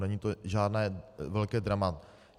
Není to žádné velké drama.